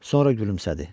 Sonra gülümsədi.